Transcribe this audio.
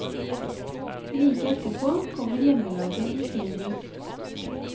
Like etterpå kommer hjemmelaget i sin buss.